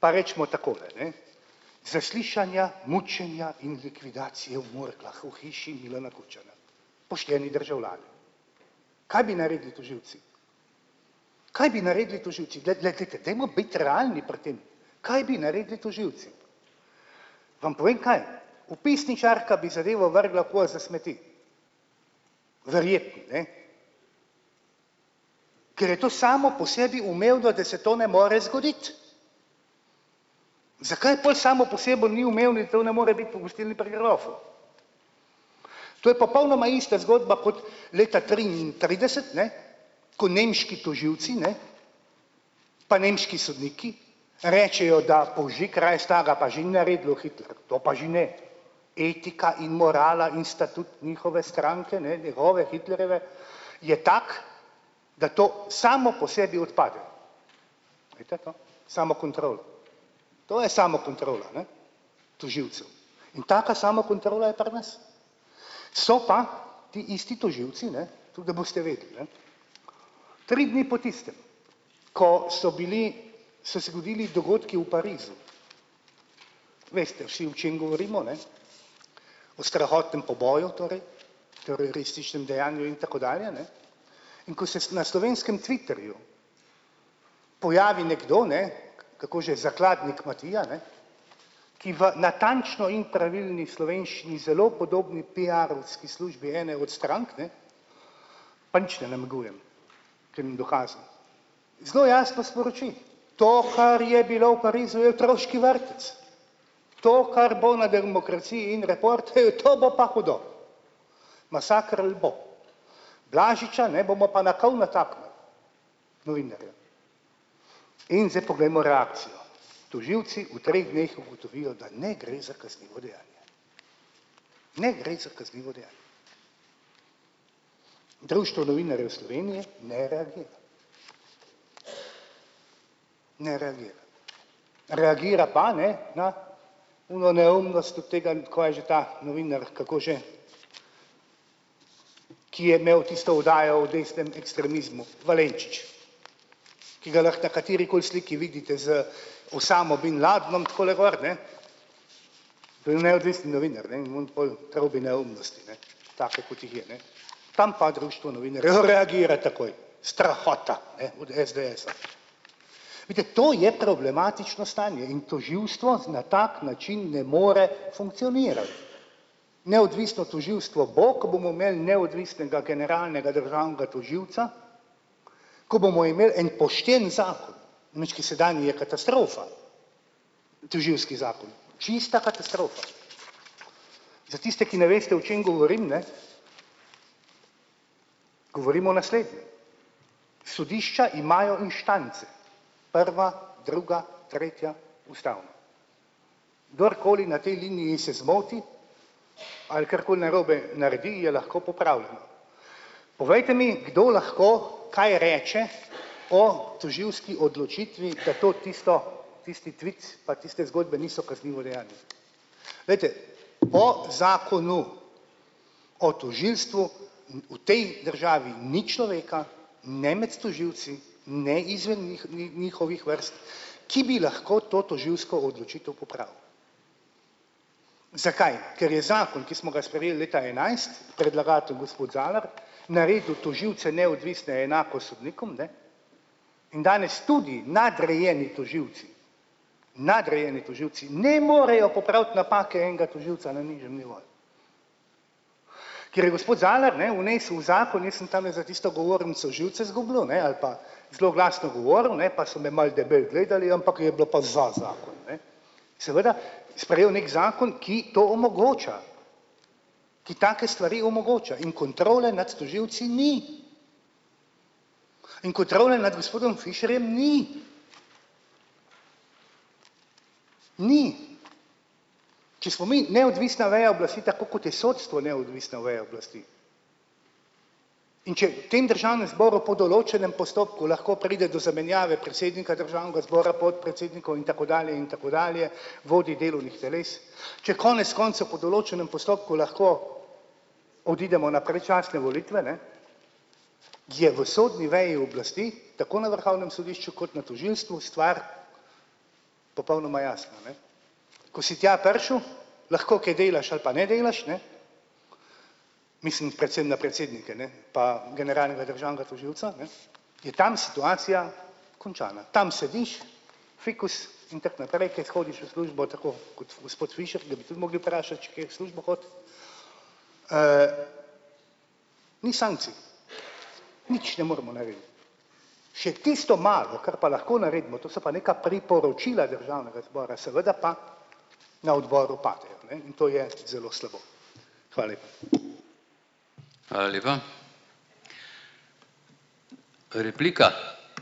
pa recimo takole, ne, zaslišanja, mučenja in likvidacije v Murglah v hiši Milana Kučana, pošteni državljani, kaj bi naredili tožilci, kaj bi naredili tožilci, glejte, te dajmo biti realni pri tem, kaj bi naredili tožilci, vam povem kaj, vpisničarka bi zadevo vrgla v koš za smeti. Verjetno, ne, ker je to samo po sebi umevno, da se to ne more zgoditi, zakaj pol samo po sabo ni umevno to ne more biti po gostilni Pri grofu, to je popolnoma ista zgodba kot leta triintrideset, ne, ko nemški tožilci, ne, pa nemški sodniki rečejo, da pa že, ne, etika in morala in sta tudi njihove stranke, ne, njegove Hitlerjeve je taka, da to samo po sebi odpade. Veste, to samokontrolo, to je samokontrola, ne, tožilcev in taka samokontrola je pri nas, so pa ti isti tožilci, ne, toliko, da boste vedeli, ne, tri dni po tistem, ko so bili, so se godili dogodki v Parizu, veste vsi, o čem govorimo, a ne, o strahotnem poboju, torej terorističnem dejanju in tako dalje, ne, in ko se na slovenskem twitterju pojavi nekdo, ne, kako že, zakladnik Matija, ne, ki v natančno in pravilni slovenščini zelo podobni piarovski službi ene od strank, ne, pa nič ne namigujem, zelo jasno sporoči: "To, kar je bilo v Parizu, je otroški vrtec, to, kar bo na Demokraciji in Report, hej, to bo pa hudo masaker ali bo, Blažiča, ne, bomo pa na kol nataknili." Novinarja. In zdaj poglejmo reakcijo, tožilci v treh dneh ugotovili, da ne gre za kaznivo dejanje. Ne gre za kaznivo dejanje. Društvo novinarjev Slovenije ne reagira, ne reagira. Reagira pa, ne, na ono neumnost od tega, kaj je že ta novinar, kako že, ki je imel tisto oddajo o desnem ekstremizmu, Valenčič, ki ga lahko katerikoli sliki vidite z Osamo bin Ladnom takole gor, ne, to je neodvisen novinar, ne, in oni pol trobi neumnosti, ne, take kot jih je, ne. Tam pa društvo novinarjev reagira takoj, strahota, ne, od SDS-a. Vidite, to je problematično stanje in tožilstvo na tak način ne more funkcionirati. Neodvisno tožilstvo bo, ko bomo imeli neodvisnega generalnega državnega tožilca, ko bomo imeli en pošten zakon mčki, sedanji je katastrofa, tožilski zakon, čista katastrofa, za tiste, ki ne veste, o čem govorim, ne, govorim o naslednjem, sodišča imajo inštance, prva, druga, tretja, ustavno, kdorkoli na tej liniji se zmoti ali karkoli narobe naredi, je lahko popravljeno, povejte mi, kdo lahko kaj reče o tožilski odločitvi na to tisto tisti tvit, pa tiste zgodbe niso kaznivo dejanje. Glejte, po zakonu o tožilstvu v tej državi ni človeka ne med tožilci ne izven njihovih vrst, ki bi lahko to tožilsko odločitev popravili. Zakaj? Ker je zakon, ki smo ga sprejeli leta enajst predlagatelj gospod Zalar naredil tožilce neodvisne enako sodnikom, ne, in danes tudi nadrejeni tožilci, nadrejeni tožilci ne morejo popraviti napake enega tožilca na nižjem nivoju. Ker je gospod Zalar, ne, vnesel v zakon, jaz sem tamle za tisto govornico živce izgubljal, ne, ali pa zelo glasno govoril, ne, pa so me malo debelo gledali, ampak je bilo pa za zakon, ne, seveda sprejel neki zakon, ki to omogoča, ki take stvari omogoča in kontrole nad tožilci ni in kontrole nad gospodom Fišerjem ni, ni, če smo mi neodvisna veja oblasti, tako kot je sodstvo neodvisna veja oblasti, in če tem državnem zboru po določenem postopku lahko pride do zamenjave predsednika državnega zbora, podpredsednikov in tako dalje in tako dalje, vodij delovnih teles, če konec koncev po določenem postopku lahko odidemo na predčasne volitve, ne, je v sodni veji oblasti tako na vrhovnem sodišču kot na tožilstvu stvar popolnoma jasna, ne. Ko si tja prišel, lahko kaj delaš ali pa ne delaš, ne, mislim predvsem na predsednike, ne, pa generalnega državnega tožilca, ne, je tam situacija končana, tam sediš, fikus in tako naprej, kaj hodiš v službo tako kot gospod Fišer, ga bi tudi mogli vprašati, če kaj v službo hodi, ni sankcij, nič ne moremo narediti, še tisto malo, kar pa lahko naredimo, to so pa neka priporočila državnega zbora, seveda pa na odboru padejo, ne, in to je zelo slabo. Hvala lepa.